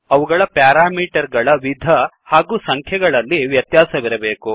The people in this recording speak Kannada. ಅವುಗಳ ಪ್ಯಾರಾಮೀಟರ್ ಗಳ ವಿಧ ಅಥವಾ ಸಂಖ್ಯೆಗಳಲ್ಲಿ ವ್ಯತ್ಯಾಸವಿರಬೇಕು